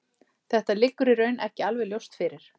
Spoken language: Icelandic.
Þetta liggur í raun ekki alveg ljóst fyrir.